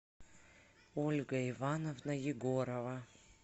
ольга ивановна егорова